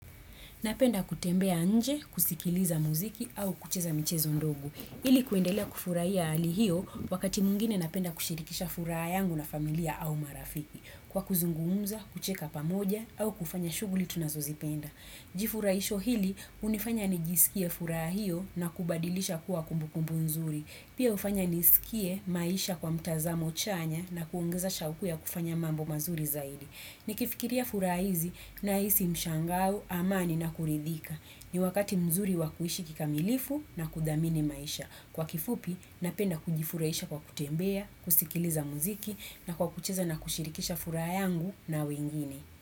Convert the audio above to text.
Napenda kutembea nje, kusikiliza muziki au kucheza mchezo ndogo. Hili kuendelea kufurahia ali hiyo wakati mwingine napenda kushirikisha furaha yangu na familia au marafiki. Kwa kuzungumza, kucheka pamoja au kufanya shuguli tunazozipenda. Jifurahisho hili unifanya nijisikie furaha hio na kubadilisha kuwa kumbukumbu nzuri. Pia ufanya nisikie maisha kwa mtazamo chanya na kuongeza shauku ya kufanya mambo mazuri zaidi. Ni kifikiria furaha hizi na hizi mshangao amani na kuridhika. Ni wakati mzuri wa kuishi kikamilifu na kudhamini maisha. Kwa kifupi, napenda kujifuraisha kwa kutembea, kusikiliza muziki na kwa kucheza na kushirikisha furaha yangu na wengine.